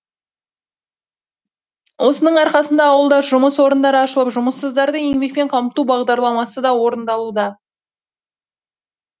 осының арқасында ауылда жұмыс орындары ашылып жұмыссыздарды еңбекпен қамту бағдарламасы да орындалуда